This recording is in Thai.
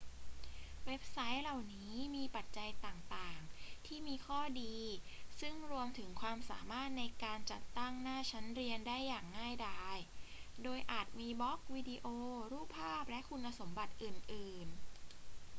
เว็บไซต์เหล่านี้มีปัจจัยต่าง ๆ ที่มีข้อดี ซึ่งรวมถึงความสามารถในการจัดตั้งหน้าชั้นเรียนได้อย่างง่ายดาย โดยอาจมีบล็อก วิดีโอ รูปภาพ และคุณสมบัติอื่น ๆ